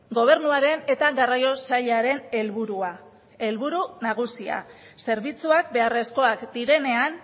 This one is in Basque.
gobernuaren eta garraio sailaren helburua helburu nagusia zerbitzuak beharrezkoak direnean